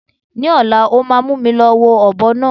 Ni ọ̀la, ó máa mú mi lọ wo ọ̀bọ náà.